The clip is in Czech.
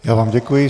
Já vám děkuji.